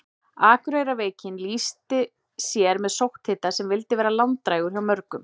Akureyrarveikin lýsti sér með sótthita sem vildi vera langdrægur hjá mörgum.